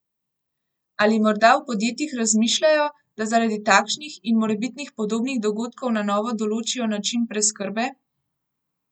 Ali morda v podjetjih razmišljajo, da zaradi takšnih in morebitnih podobnih dogodkov na novo določijo način preskrbe?